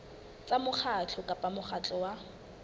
tsa mokgatlo kapa mokgatlo wa